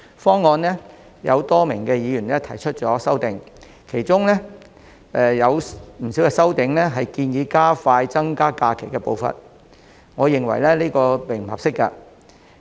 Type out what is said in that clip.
今次有多名議員就政府提出的方案提出修正案，當中不少擬議修正案也建議加快增加假期的步伐，但我認為並不合適。